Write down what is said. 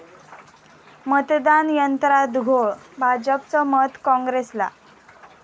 मतदान यंत्रात घोळ, भाजपचं मत काँग्रेसला!